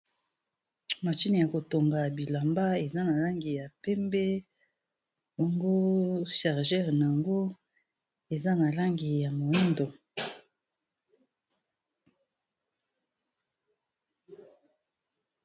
Machine ya kotonga bilamba, eza na langi ya pembe. Bongo charger na ngo, eza na langi ya moyindo.